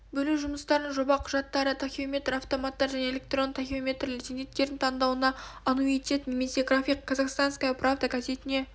бөлу жұмыстарының жоба құжаттары тахеометр-автоматтар және электронды тахеометрлер зейнеткердің таңдауына аннуитет немесе график казахстанская правда газетіне